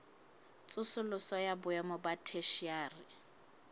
tsosoloso ya boemo ba theshiari